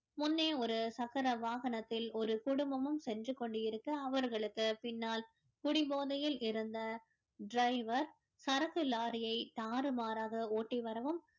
முன்னே ஒரு சக்கர வாகனத்தில் ஒரு குடும்பமும் சென்று கொண்டு இருக்க அவர்களுக்கு பின்னால் குடிபோதையில் இருந்த driver சரக்கு lorry யை தாறுமாறாக ஓட்டி வரவும்